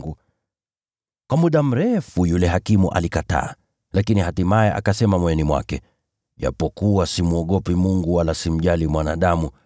“Kwa muda mrefu yule hakimu alikataa. Lakini hatimaye akasema moyoni mwake, ‘Ijapokuwa simwogopi Mungu wala simjali mwanadamu,